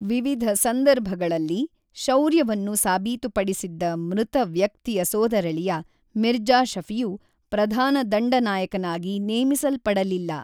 ವಿವಿಧ ಸಂದರ್ಭಗಳಲ್ಲಿ ಶೌರ್ಯವನ್ನು ಸಾಬೀತುಪಡಿಸಿದ್ದ ಮೃತ ವ್ಯಕ್ತಿಯ ಸೋದರಳಿಯ ಮಿರ್ಜಾ ಶಫಿಯು ಪ್ರಧಾನ ದಂಡನಾಯಕನಾಗಿ ನೇಮಿಸಲ್ಪಡಲಿಲ್ಲ.